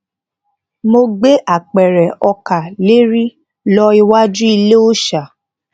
mo gbé apèrè ọkà leri lo iwaju ile òòsà